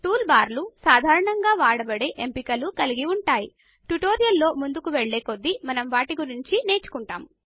tool బార్లు సాధారణంగా వాడబడే ఎంపికలు కలిగి ఉంటాయి ట్యుటోరియల్ లో ముందుకు వెళ్ళే కొద్దీ మనం వాటిని నేర్చుకుంటాము